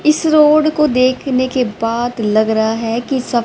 इस रोड को देखने के बाद लग रहा है कि सब--